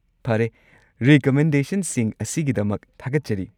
ꯐꯔꯦ, ꯔꯤꯀꯃꯦꯟꯗꯦꯁꯟꯁꯤꯡ ꯑꯁꯤꯒꯤꯗꯃꯛ ꯊꯥꯒꯠꯆꯔꯤ!